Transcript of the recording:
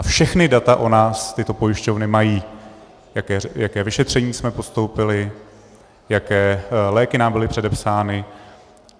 A všechna data o nás tyto pojišťovny mají - jaké vyšetření jsme podstoupili, jaké léky nám byly předepsány.